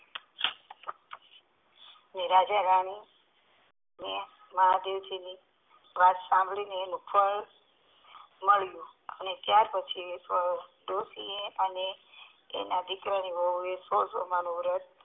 એટલે રાજા રાની મહાદેવજી ની વાત શાંભળી ને ત્યાર પછી ડોસી એ અને તેના દીકરાની વહુ એ તે વ્રત